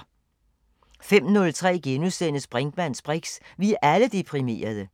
05:03: Brinkmanns briks: Vi er alle deprimerede! *